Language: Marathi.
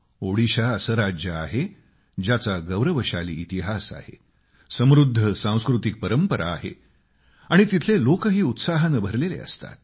ओडिशा असं राज्य आहे ज्याचा गौरवशाली इतिहास आहे समृद्ध सांस्कृतिक परंपरा आहे आणि तिथले लोकही उत्साहाने भरलेले असतात